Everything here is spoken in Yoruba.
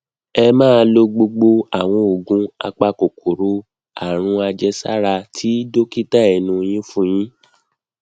ẹ máa lo gbogbo àwọn oògùn apakòkòrò àrùnàjẹsára tí dókítà ẹnu yin fún yín